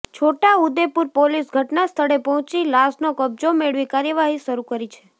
છોટા Udepur police ઘટનાસ્થળે પહોંચી લાશનો કબજો મેળવી કાર્યવાહી શરૂ કરી છે